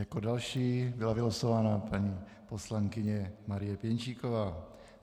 Jako další byla vylosována paní poslankyně Marie Pěnčíková.